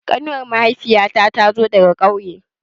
Ƙanuwar mahaifiya ta tazo daga ƙauye